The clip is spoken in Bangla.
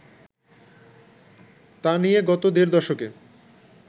তা নিয়ে গত দেড় দশকে